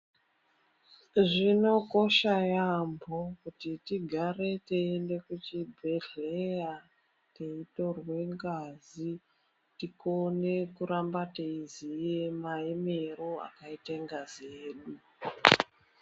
Zvinokosha yambo kuti tigare teienda kuchibhedhlera, teitorwe ngazi tikone kuramba teiziya maemero akaite ngazi yedu.